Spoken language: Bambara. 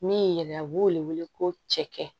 Min yɛrɛ a b'o wele ko cɛkɛ